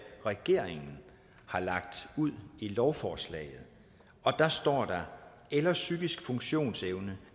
regeringen har lagt ud i lovforslaget og der står der eller psykisk funktionsevne